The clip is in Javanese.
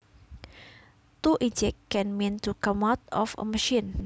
To eject can mean to come out of a machine